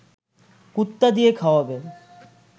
কুত্তা দিয়ে খাওয়াবে